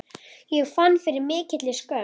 Ég fann fyrir mikilli skömm.